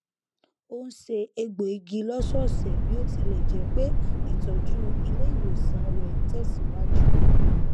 ó n se egbò igi lọsọọsẹ bí ó tilẹ jẹ pé ìtọjú ilé ìwòsàn rẹ n tẹsìwájú